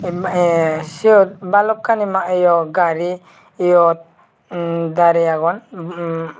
ma eyey siot balokani gari yot darey aagon.